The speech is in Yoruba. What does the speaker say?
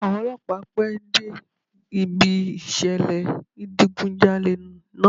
Àwọn Ọlọ́pàá pẹ́ dé ibi ìṣẹ̀lẹ̀ ìdigun jalè náà.